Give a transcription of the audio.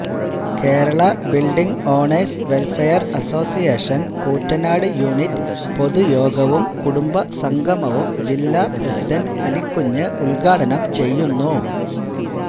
Kerala building owners welfare association Koottanad unit പൊതുയോഗവും കുടുംബസംഗമവും ജില്ലാപ്രസിഡന്റ് അലിക്കുഞ്ഞ് ഉദ്ഘാടനംചെയ്യുന്നു